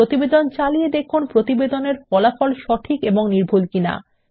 প্রতিবেদন চালিয়ে দেখুন প্রতিবেদনের ফলাফল সঠিক এবং নির্ভুল কিনা